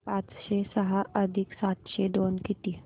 पाचशे सहा अधिक सातशे दोन किती